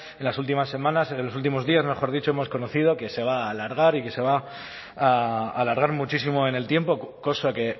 en las últimas semanas en los últimos días mejor dicho hemos conocido que se va a alargar y que se va a alargar muchísimo en el tiempo cosa que